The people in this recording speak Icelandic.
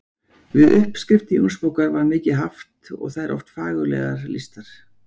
Við uppskriftir Jónsbókar var mikið haft og þær oft fagurlega lýstar.